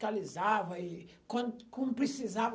Fiscalizava. E quando quando precisava